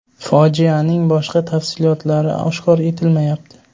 Fojianing boshqa tafsilotlari oshkor etilmayapti.